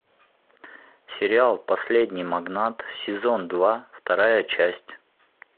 сериал последний магнат сезон два вторая часть